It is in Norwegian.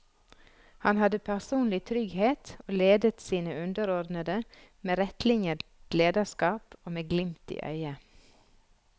Han hadde personlig trygghet og ledet sine underordnede med rettlinjet lederskap og med glimt i øyet.